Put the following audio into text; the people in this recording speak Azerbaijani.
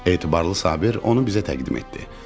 Etibarlı Sabir onu bizə təqdim etdi: